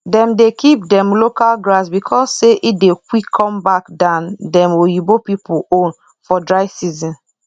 dem dey keep dem local grass because say e dey quick come back than dem oyibo pipu own for dry season